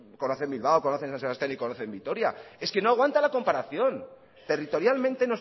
conocen bilbao conocen san sebastián y conocen vitoria es que no aguanta la comparación territorialmente